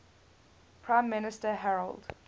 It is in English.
prime minister harold